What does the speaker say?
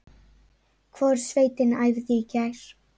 Hvorug sveitin æfði í gær.